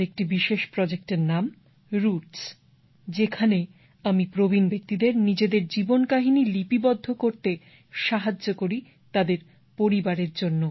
আমার একটি বিশেষ প্রজেক্টের নাম রুটস যেখানে আমি প্রবীণ ব্যক্তিদের নিজেদের জীবন কাহিনী লিপিবদ্ধ করতে সাহায্য করি তাদের পরিবারের জন্য